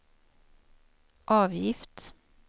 avgift